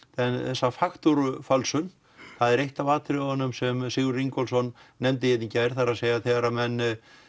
þessa faktúrufölsun það er eitt af atriðunum sem Sigurður Ingólfsson nefndi hér í gær það er þegar menn